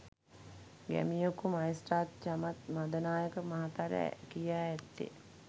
ගැමියකු මහේස්ත්‍රාත් චමත් මදනායක මහතාට කියා ඇත්තේ